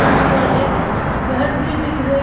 यहां पर एक घर भी दिख रही--